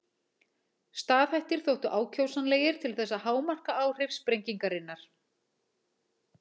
Staðhættir þóttu ákjósanlegir til þess að hámarka áhrif sprengingarinnar.